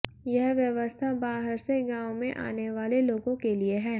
यह व्यवस्था बाहर से गांव में आने वाले लोगों के लिए है